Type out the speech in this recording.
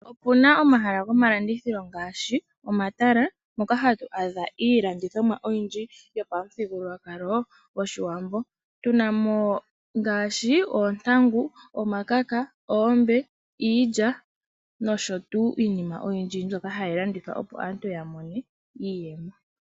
Opu na omahala gomalandithilo ngaashi omatala, mpoka hatu adha iilandithomwa oyindji yopamuthigululwakalo gOshiwambo. Otu na mo ngaashi oontangu, omakaka, oombe, iilya nosho tuu iinima oyindji mbyoka hayi landithwa opo aantu ya mone iiyemo.